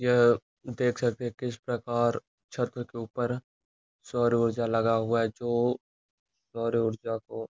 यह देख सकते हैं किस प्रकार छत्व के ऊपर सौर्य ऊर्जा लगा हुआ है जो सौर्य ऊर्जा को --